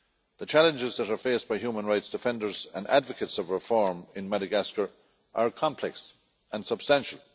The challenges that are faced by human rights defenders and advocates of reform in Madagascar are complex and substantial.